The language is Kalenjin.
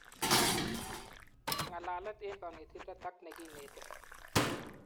Ngalalet eng kanetindet ajk nekineti